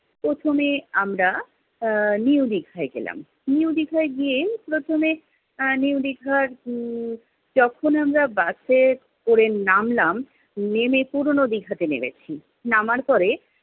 প্রথমে আমরা আহ new দীঘায় গেলাম। new দীঘায় গিয়ে প্রথমে আহ new দীঘার হম যখন আমরা বাসে করে নামলাম, নেমে, পুরোনো দীঘাতে নেমেছি। নামার পরে